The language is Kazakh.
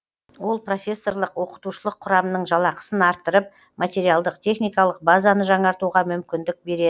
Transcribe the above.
ол профессорлық оқытушылық құрамның жалақысын арттырып материалдық техникалық базаны жаңартуға мүмкіндік береді